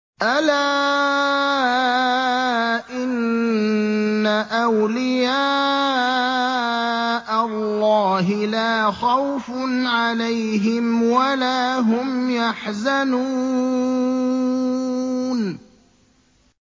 أَلَا إِنَّ أَوْلِيَاءَ اللَّهِ لَا خَوْفٌ عَلَيْهِمْ وَلَا هُمْ يَحْزَنُونَ